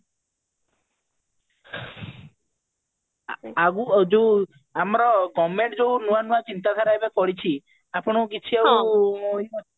ଆଗକୁ ଯୋଉ ଆମର government ଯୋଉ ନୂଆ ନୂଆ ଚିନ୍ତାଧାରା ଏବେ କରିଛି ଆପଣଙ୍କୁ କିଛି ଆଉ